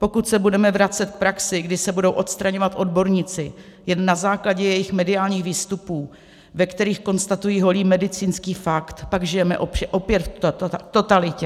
Pokud se budeme vracet k praxi, kdy se budou odstraňovat odborníci jen na základě jejich mediálních výstupů, ve kterých konstatují holý medicínský fakt, pak žijeme opět v totalitě.